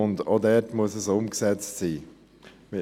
auch dort muss es umgesetzt sein.